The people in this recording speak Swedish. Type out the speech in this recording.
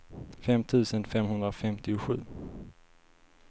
fem tusen femhundrafemtiosju